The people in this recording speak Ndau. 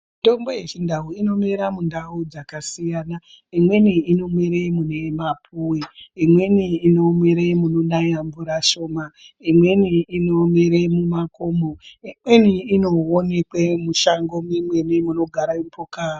Mitombo yechindau inomera mundau dzakasiyana. Imweni inomere mune mapuwe, imweni inomere munonaya mvura shoma imweni inomere mumakomo imweni inoonekwe mushango mimweni munogara mhuka.